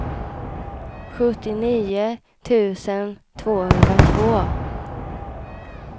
sjuttionio tusen tvåhundratvå